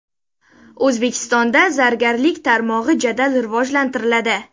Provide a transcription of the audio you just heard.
O‘zbekistonda zargarlik tarmog‘i jadal rivojlantiriladi.